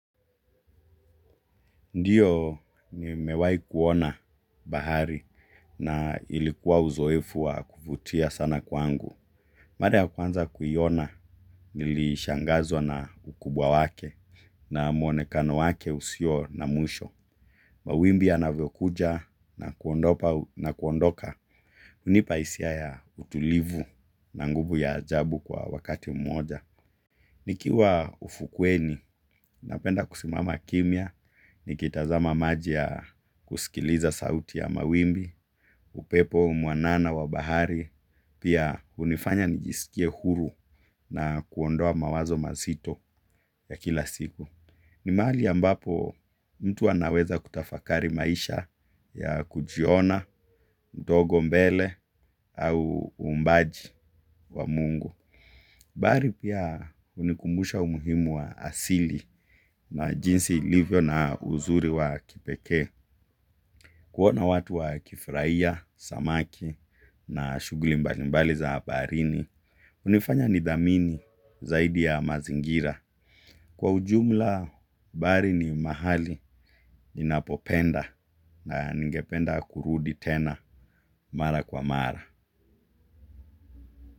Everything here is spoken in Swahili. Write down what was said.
Ndiyo ni mewai kuona bahari na ilikuwa uzoefu wa kufutia sana kwangu. Mara ya kwanza kuiona nilishangazwa na ukubwa wake na mwonekano wake usio na mwisho. Mawimbi ya na vyokuja na kuondoka unipaisia ya utulivu na nguvu ya ajabu kwa wakati mmoja. Nikiwa ufukweni, napenda kusimama kimya, nikitazama maji ya kusikiliza sauti ya mawimbi, upepo mwanana wabahari, pia unifanya nijisikie huru na kuondoa mawazo mazito ya kila siku. Ni mahali a mbapo mtu anaweza kutafakari maisha ya kujiona, mdogo mbele au uumbaji wa mungu. Mbari pia unikumbusha umuhimu wa asili na jinsi ilivyo na uzuri wa kipekee. Kuona watu wa kifuraia, samaki na shuguli mbalimbali za baharini. Unifanya nidhamini zaidi ya mazingira. Kwa ujumla bahari ni mahali ninapopenda na ningependa kurudi tena mara kwa mara.